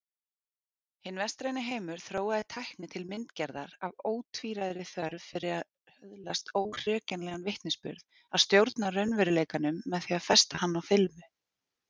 Hinn vestræni heimur þróaði tækni til myndgerðar af ótvíræðri þörf fyrir að öðlast óhrekjanlegan vitnisburð, að stjórna raunveruleikanum með því að festa hann á filmu.